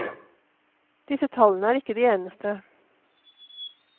Disse tallene er ikke de eneste.